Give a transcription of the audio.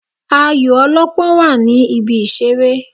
Ayò ọlọ́pọ́n wà ní ibi ìṣeré.